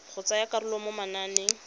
go tsaya karolo mo mananeng